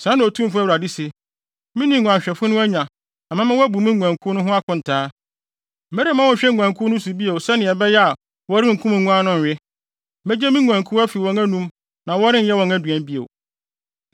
Sɛɛ na Otumfo Awurade se: Me ne nguanhwɛfo no anya na mɛma wɔabu me nguankuw no ho akontaa. Meremma wɔnhwɛ nguankuw no bio sɛnea ɛbɛyɛ a wɔrenkum nguan no nnwe; megye me nguankuw afi wɔn anom na wɔrenyɛ wɔn aduan bio.